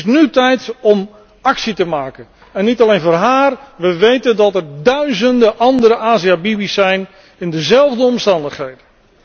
Het is nu tijd om actie te ondernemen, en niet alleen voor haar. We weten dat er duizenden andere Asia Bibi's zijn in dezelfde omstandigheden.